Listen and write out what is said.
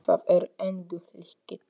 Það er engu líkt.